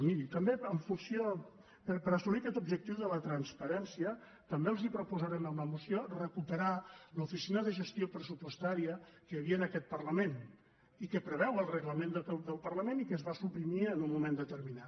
miri per assolir aquest objectiu de la transparència també els proposarem en la moció recuperar l’oficina de gestió pressupostària que hi havia en aquest parlament i que preveu el reglament del parlament i que es va suprimir en un moment determinat